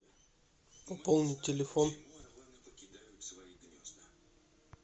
пополнить телефон